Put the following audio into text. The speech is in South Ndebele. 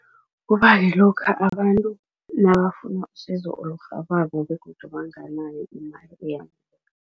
Kuba kulokha abantu nabafuna usizo olurhabako begodu banganayo imali eyaneleko.